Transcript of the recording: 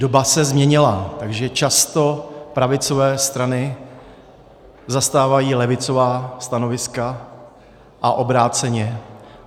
Doba se změnila, takže často pravicové strany zastávají levicová stanoviska a obráceně.